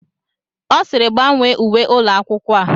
Ọ sịịrị, gbanwee uwe ụlọ akwụkwọ a!